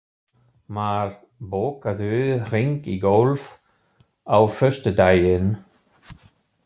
Mar, bókaðu hring í golf á föstudaginn.